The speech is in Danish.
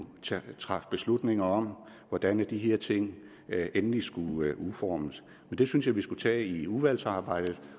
træffe beslutninger om hvordan de her ting endeligt skulle udformes men det synes jeg vi skal tage i udvalgsarbejdet